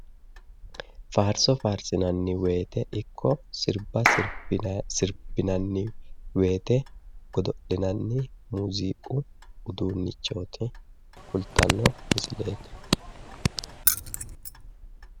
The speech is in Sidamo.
Faarso faarsinayi woyite ikko sirbba sirbbinanni woyite godo'linanni muuziiqu uduunnicho kultanno misileeti.